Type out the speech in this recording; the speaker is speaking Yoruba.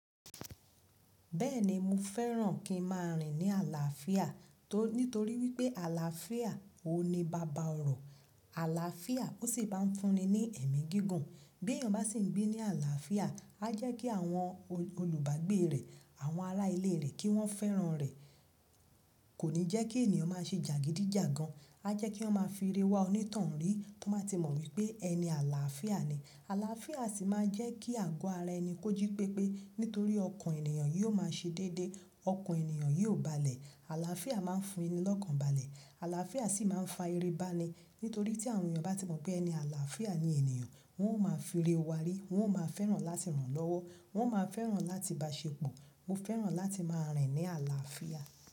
Bẹ́ẹ̀ni, mo fẹ́ràn kí n máa rìn ní àlàáfíà torí nitori wípé àlàáfíà o ní baba ọ̀rọ̀. Àlàáfíà ó sì máa ń fún ni ní ẹ̀mí gígùn. Bí èèyàn bá sì ń gbé ní àlàáfíà, a jẹ́ kí àwọn olu olùbágbé rẹ̀, àwọn ará ilé rẹ̀ kí wọ́n fẹ́ràn rẹ̀. Kò ní jẹ́ kí ènìyàn máa ṣe jàgídíjàgan. A jẹ́ kí wọn máa fi ire wá onítàn rí, tí wọn ba ti mọ̀ wípé ẹni àlàáfíà ni. Àlàáfíà sì máa jẹ́ kí àgọ́ ara ẹni kó jí pépé nítorí ọkàn ènìyàn yóò máa ṣe dédé. Ọkàn ènìyàn yóò balẹ̀. Àlàáfíà máa ń fún ni lọ́kàn balẹ̀. Àlàáfíà sì máa ń fa ire bá ni. Nítorí tí àwọn èèyàn bá ti mọ̀ pé ẹni àlàáfíà ni ènìyàn, wọn ó máa fi rí wá rí, wọn ó máa fẹ́ràn láti rànlọ́wọ́, wọn ó máa fẹ́ràn láti bá ṣe pọ̀. Mo fẹ́ràn láti máa rìn ní àlàáfíà.